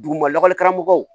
Duguma lakɔlikaramɔgɔw